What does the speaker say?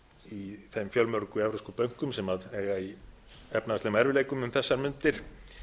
í þeim fjölmörgu evrópsku bönkum sem eiga í efnahagslegum erfiðleikum um þessar mundir